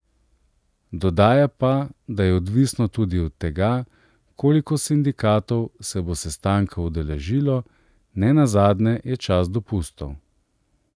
Dodaja pa, da je odvisno tudi od tega, koliko sindikatov se bo sestanka udeležilo, nenazadnje je čas dopustov.